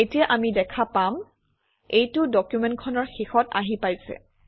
এতিয়া আমি দেখা পাম এইটো ডকুমেণ্টখনৰ শেষত আহি পাইছে